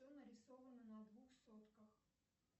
кто нарисован на двух сотках